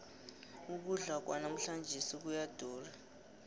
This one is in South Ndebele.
ukudla kwanamhlanjesi kuyadura